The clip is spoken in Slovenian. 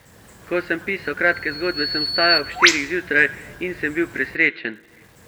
Ko sem pisal kratke zgodbe, sem vstajal ob štirih zjutraj in sem bil presrečen.